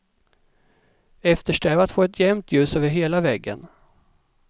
Eftersträva att få ett jämnt ljus över hela väggen.